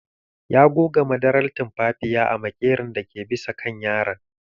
Ya goga madarar tumfafiya a maƙeron dake bisa kan yaron.